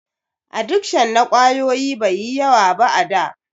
Adikshon na ƙwayoyi bai yi yawa ba a da.